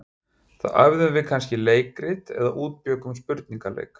Þá æfðum við kannski leikrit eða útbjuggum spurningaleik.